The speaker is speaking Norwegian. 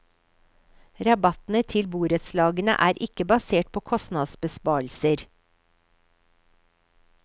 Rabattene til borettslagene er ikke basert på kostnadsbesparelser.